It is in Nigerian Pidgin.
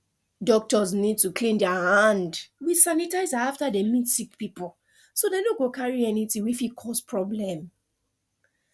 doctors need to clean der hand with sanitizer after dey meet sick people so dem no go carry anything wey fit cause problem